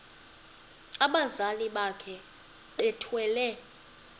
abazali bakhe bethwele